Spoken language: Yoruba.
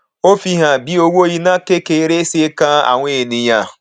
ó fi hàn bí owó iná kékeré ṣe kàn àwọn ènìyàn